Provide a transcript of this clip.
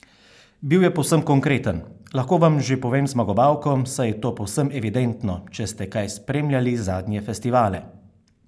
Bil je povsem konkreten: "Lahko vam že povem zmagovalko, saj je to povsem evidentno, če ste kaj spremljali zadnje festivale.